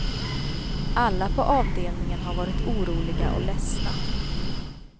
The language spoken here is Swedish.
Alla på avdelningen har varit oroliga och ledsna.